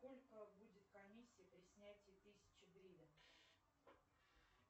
сколько будет комиссия при снятии тысячи гривен